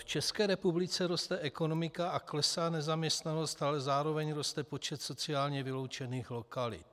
V České republice roste ekonomika a klesá nezaměstnanost, ale zároveň roste počet sociálně vyloučených lokalit.